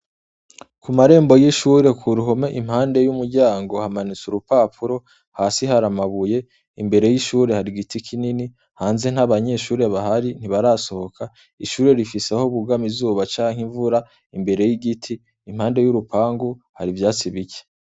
Ku marembo y'ishure ku ruhome impande y'umuryango hamanutse urupapuro hasi hariamabuye imbere y'ishure hari igiti kinini hanze nt'abanyeshure bahari ntibarasohoka ishure rifiseho bugami zuba canke imvura imbere y'igiti impande y'urupangu hari ivyatsi bike.